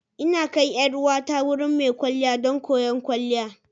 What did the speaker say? Ina kai 'yar uwata wurin mai kwalliya don koyon kwalliya.